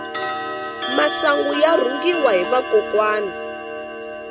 masangu ya rhungiwa hi vakokwani